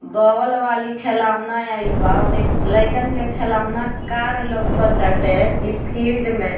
ball वाली खिलौना आइल बा ओदे लईकन के खिलौना कार लौक ताटे ई फील्ड में --